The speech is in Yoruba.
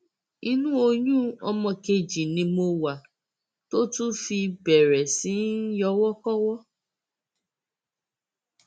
inú oyún ọmọ kejì ni mo wà tó tún fi bẹrẹ sí í yọwọkọwọ